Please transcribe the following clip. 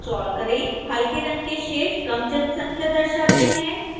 हल्के रंग के शेड्स कम जनसंख्या दर्शाते हैं